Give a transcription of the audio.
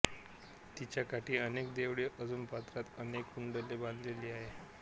तिच्या काठी अनेक देवळे असून पात्रात अनेक कुंडले बांधलेली आहेत